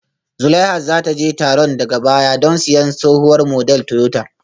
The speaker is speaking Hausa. Zulaihat za ta je taron daga baya don siyan tsohuwar model Toyota